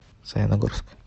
саяногорск